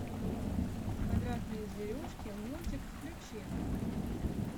квадратные зверюшки мультик включи